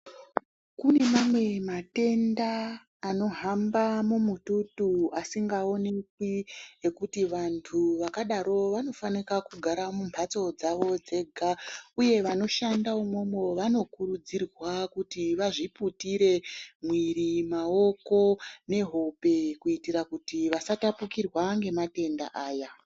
Kune mamwe matenda anohamba mumututu asingaonekwi ngekuti vantu vakadaro vanofanika kugara mumbatso dzavo dzega. Uye vanoshanda umomo vanokurudzirwa kuti vazviputire mwiiri, maoko nehope kuitira kuti vasatapukirwa ngematenda aya.